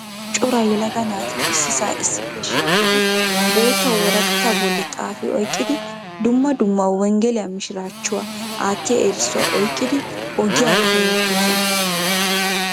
cora yelaga naati issisa issippe shiiqidi boottaa woraqata bolli xaafi oyqqidi dumma dumma wenggeliya mishshirachuwaa aattiya erissuwaa oyqqidi ogiyaara hemettoosona.